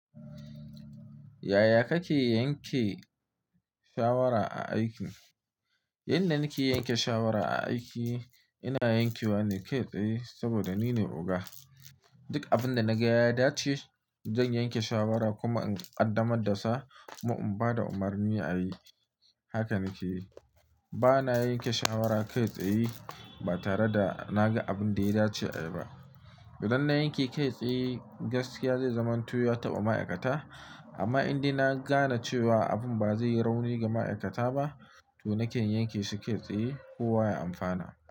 Yaya kake yanke shawara a aiki? Yanda nake yanke shawara a aiki, ina yankewa na kai tsaye saboda nine oga. Duk abinda naga ya dace, zan yanke shawara kuma in qaddamar da sa kuma in bada umarni ayi. Haka nake yi. Bana yanke shawara kai tsaye ba tare da naga abinda ya dace ayi ba. Idan na yanke kai tsaye, gaskiya zai zamanto ya taɓa ma'aikata. Amma indai na gane cewa abun ba zai yi rauni ga ma'aikata ba, to naken yanke shi kai tsaye kowa ya amfana.